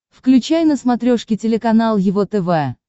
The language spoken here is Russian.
включай на смотрешке телеканал его тв